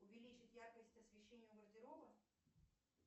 увеличить яркость освещения гардероба